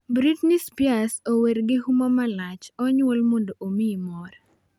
"Britney Spears ower gi huma malach ""Onyuol mondo omiyi mor."""